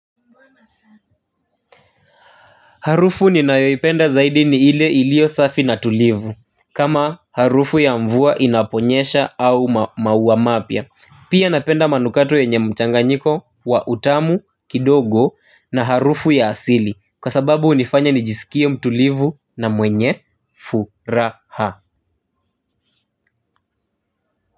Harufu ni nayoipenda zaidi ni ile ilio safi na tulivu. Kama harufu ya mvua inaponyesha au maua mapya pia napenda manukato yenye mchanganyiko wa utamu kidogo na harufu ya asili. Kwa sababu hunifanya nijisikie mtulivu na mwenye furaha.